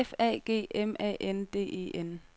F A G M A N D E N